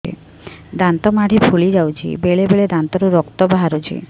ଦାନ୍ତ ମାଢ଼ି ଫୁଲି ଯାଉଛି ବେଳେବେଳେ ଦାନ୍ତରୁ ରକ୍ତ ବାହାରୁଛି